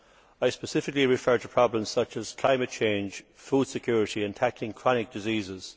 I specifically refer to problems such as climate change, food security and tackling chronic diseases.